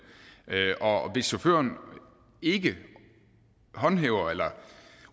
og hvis chaufføren ikke håndhæver eller